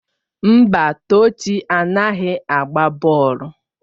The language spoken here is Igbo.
Mba, Tochi anaghị agba bọọlụ.